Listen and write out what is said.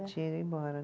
Tinha ido embora